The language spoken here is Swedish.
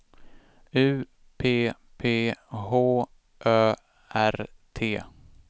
U P P H Ö R T